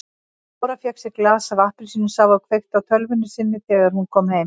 Dóra fékk sér glas af appelsínusafa og kveikti á tölvunni sinni þegar hún kom heim.